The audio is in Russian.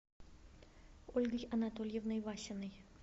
ольгой анатольевной васиной